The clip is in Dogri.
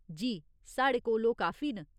जी, साढ़े कोल ओह् काफी न।